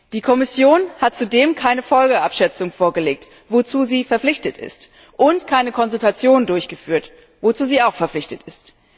Die Kommission hat zudem keine Folgenabschätzung vorgelegt, wozu sie verpflichtet ist, und keine Konsultation durchgeführt, wozu sie auch verpflichtet ist.